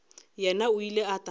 yena o ile a tla